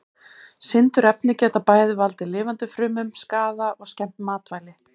Sindurefni geta bæði valdið lifandi frumum skaða og skemmt matvæli.